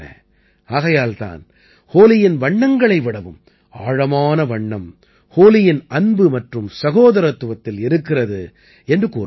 ஆகையால் தான் ஹோலியின் வண்ணங்களை விடவும் ஆழமான வண்ணம் ஹோலியின் அன்பு மற்றும் சகோதரத்துவத்தில் இருக்கிறது என்று கூறுவார்கள்